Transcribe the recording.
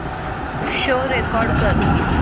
show record कर